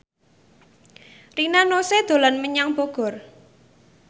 Rina Nose dolan menyang Bogor